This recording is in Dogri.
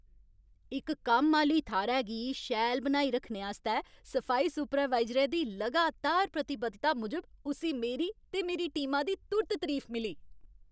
इक कम्म आह्‌ली थाह्रै गी शैल बनाई रक्खने आस्तै सफाई सुपरवाइजरै दी लगातार प्रतिबद्धता मूजब उस्सी मेरी ते मेरी टीमा दी तुर्त तरीफ मिली।